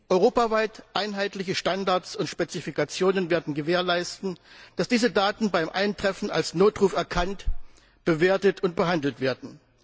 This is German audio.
Europaweit einheitliche Standards und Spezifikationen werden gewährleisten, dass diese Daten beim Eintreffen als Notruf erkannt, bewertet und behandelt werden.